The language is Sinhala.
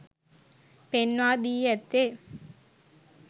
පෙන්වා දී ඇත්තේ